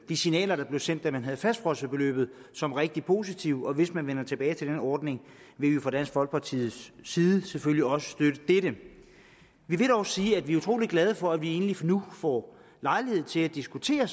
de signaler der blev sendt da man havde fastfrosset beløbet som rigtig positive og hvis man vender tilbage til den ordning vil vi fra dansk folkepartis side selvfølgelig også støtte dette vi vil dog sige at vi er utrolig glade for at vi egentlig nu får lejlighed til at diskutere